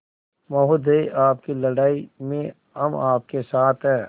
महोदय आपकी लड़ाई में हम आपके साथ हैं